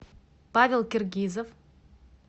павел киргизов